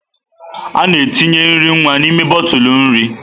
A na-etinye nri nwa n'ime bọtụlụ nri.